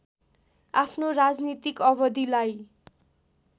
आफ्नो राजनीतिक अवधिलाई